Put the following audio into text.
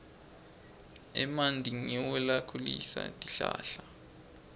emanti ngiwo lakhulisa tihlahla